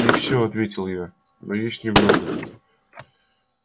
не все ответил я но есть немного